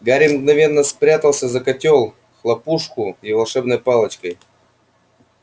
гарри мгновенно спрятался за котёл хлопушку и волшебной палочкой